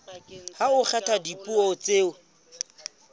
ha ho kgethwa dipuo tseo